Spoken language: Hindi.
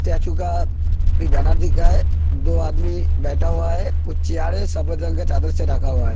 स्टेचू का भी बैनर दिख रहा है दो आदमी बैठा हुआ है कुछ चेयर है ढका हुआ है।